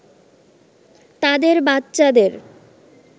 তাদের বাচ্চাদের